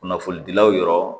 Kunnafonidilaw yɔrɔ